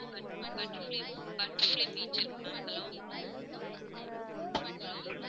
butterfly butterfly beach இருக்கு ma'am hello hello